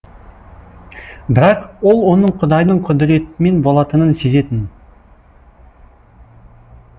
бірақ ол оның құдайдың құдіретімен болатынын сезетін